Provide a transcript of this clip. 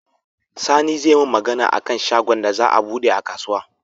Sani zai mun Magana akan shagon da za a buɗe a kasuwa